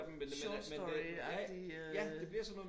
Short story agtig øh